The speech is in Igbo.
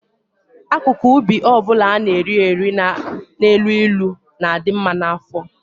Akụkụ ubi ọ bụla a na-eri eri na-elu ilu na-adị mma maka afọ.